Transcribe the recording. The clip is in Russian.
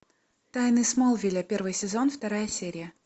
тайны смолвиля первый сезон вторая серия